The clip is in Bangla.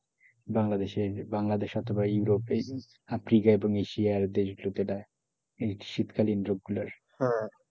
বাংলাদেশের বাংলাদেশ অথবা ইউরোপ এই আফ্রিকা এবং এশিয়ার দেশগুলোতে দেয় এই শীতকালীন রোগ গুলার